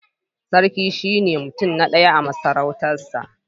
Sarki shine mutum na ɗaya a masarautarsa